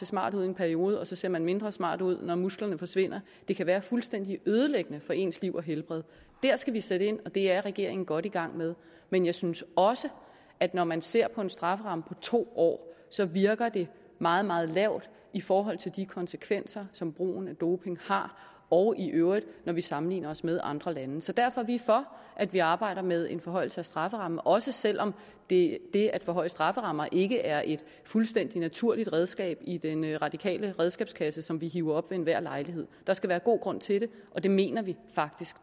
smart ud i en periode og så ser man mindre smart ud når musklerne forsvinder det kan være fuldstændig ødelæggende for ens liv og helbred der skal vi sætte ind og det er regeringen godt i gang med men jeg synes også at når man ser på en strafferamme på to år så virker det meget meget lavt i forhold til de konsekvenser som brugen af doping har og i øvrigt når vi sammenligner os med andre lande så derfor er vi for at vi arbejder med en forhøjelse af strafferammen også selv om det at forhøje strafferammer ikke er et fuldstændig naturligt redskab i den radikale redskabskasse som vi hiver op ved enhver lejlighed der skal være god grund til det og det mener vi faktisk